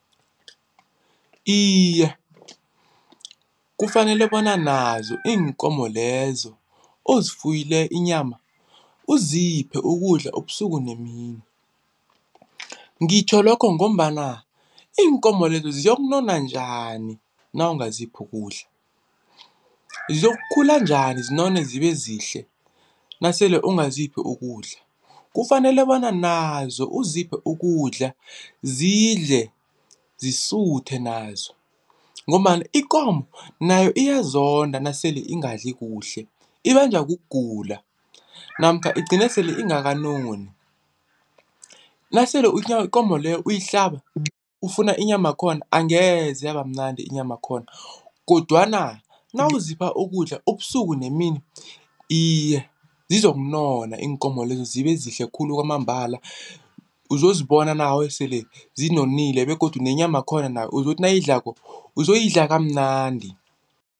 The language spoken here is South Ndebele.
Iye, kufanele bona nazo iinkomo lezo ozifuyele inyama uziphe ukudla ubusuku nemini. Ngitjho lokho ngombana iinkomo lezo ziyokunona njani nawo nawungaziphi ukudla ziyokukhula njani zinone zibe zihle nasele ungaziphi ukudla. Kufanele bona nazo uziphe ukudla zidle zisuthe nazo ngombana ikomo nayo iyazonda nasele ingadla kuhle, ibanjwa kugula namkha igcine sele ingakanoni nasele ikomo leyo uyihlaba ufuna inyamakhona angeze yaba mnandi inyamakhona kodwana nawuzipha ukudla ubusuku nemini iye zizokunona iinkomo lezo zibe zihle khulu kwamambala uzozibona nawe sele zinonile begodu nenyamakhona nayo uzokuthi nawuyidlako uzoyidla kamnandi.